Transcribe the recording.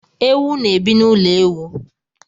Ewu na ebi na ụlọ ewu